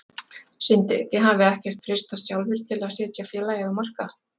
Sindri: Þið hafið ekkert freistast sjálfir til að setja félagið á markað?